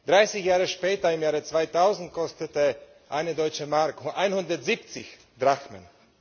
30 Jahre später, im Jahre 2000, kostete eine Deutsche Mark 170 Drachmen.